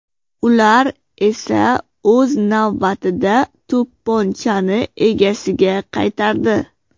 Ular esa o‘z navbatida to‘pponchani egasiga qaytardi.